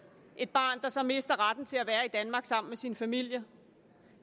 et barn der så mister retten til at være i danmark sammen med sin familie